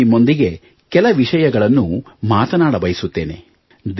ಇಂದು ನಿಮ್ಮೊಂದಿಗೆ ಕೆಲ ವಿಷಯಗಳನ್ನು ಮಾತನಾಡಬಯಸುತ್ತೇನೆ